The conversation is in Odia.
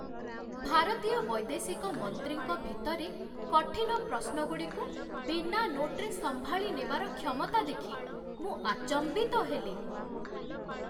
ଭାରତୀୟ ବୈଦେଶିକ ମନ୍ତ୍ରୀଙ୍କ ଭିତରେ କଠିନ ପ୍ରଶ୍ନଗୁଡ଼ିକୁ ବିନା ନୋଟ୍‌ରେ ସମ୍ଭାଳିନେବାର କ୍ଷମତା ଦେଖି ମୁଁ ଆଚମ୍ବିତ ହେଲି।